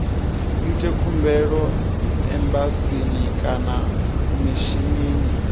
ite khumbelo embasini kana mishinini